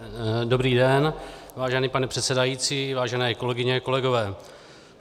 Dobrý den, vážený pane předsedající, vážené kolegyně, kolegové.